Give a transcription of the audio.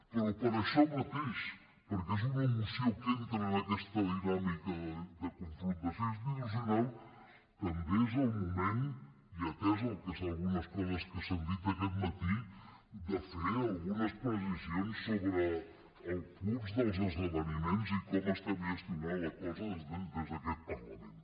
però per això mateix perquè és una moció que entra en aquesta dinàmica de confrontació institucional també és el moment i atès el que és d’algunes coses que s’han dit aquest matí de fer algunes precisions sobre el curs dels esdeveniments i com estem gestionant la cosa des d’aquest parlament